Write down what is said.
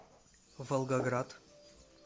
волгоград